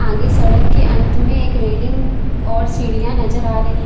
आगे सड़क के अंत में एक रेलिंग और सीढ़ियां नजर आ रही--